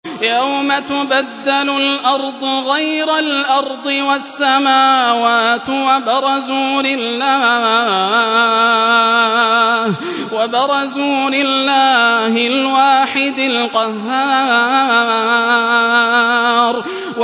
يَوْمَ تُبَدَّلُ الْأَرْضُ غَيْرَ الْأَرْضِ وَالسَّمَاوَاتُ ۖ وَبَرَزُوا لِلَّهِ الْوَاحِدِ الْقَهَّارِ